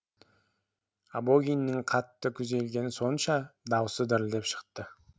абогиннің қатты күйзелгені сонша даусы дірілдеп шықты